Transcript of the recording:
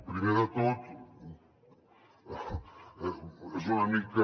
primer de tot és una mica